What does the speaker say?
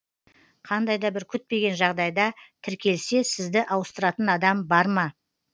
қандай да бір күтпеген жағдайда тіркелсе сізді ауыстыратын адам бар ма